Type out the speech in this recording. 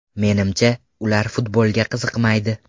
Menimcha, ular futbolga qiziqmaydi.